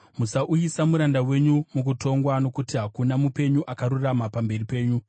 Musauyisa muranda wenyu mukutongwa, nokuti hakuna mupenyu akarurama pamberi penyu.